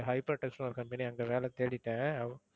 hypertechs ன்னு ஒரு company அங்க வேலை தேடிட்டேன்.